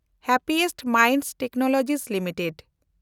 ᱥᱟᱱᱟᱢ ᱠᱷᱚᱱ ᱨᱟᱹᱥᱠᱟᱹ ᱢᱚᱱᱮ ᱴᱮᱠᱱᱳᱞᱚᱡᱤ ᱞᱤᱢᱤᱴᱮᱰ